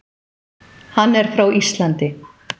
Hann er frá Íslandi.